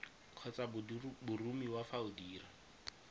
kgotsa boromiwa fa o dira